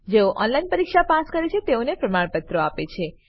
જેઓ ઓનલાઈન પરીક્ષા પાસ કરે છે તેઓને પ્રમાણપત્રો આપે છે